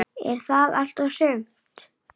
En sárin urðu fleiri.